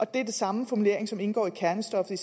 det er den samme formulering som indgår i kernestoffet